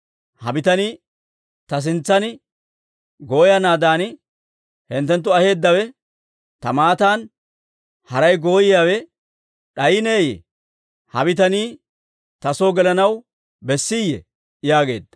Ha bitanii ta sintsan gooyanaadan hinttenttu aheeddawe, ta matan haray gooyiyaawe d'ayineyye? Ha bitanii ta soo gelanaw bessiiyye?» yaageedda.